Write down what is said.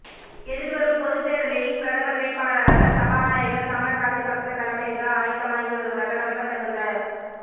எதிர்வரும் பொது தேர்தலில் பிரதமர் வேட்பாளராக சபாநாயகர் சமல் ராஜபக்ச களமிறங்க ஆயத்தமாகிவருவதாக நம்பத்தகுந்த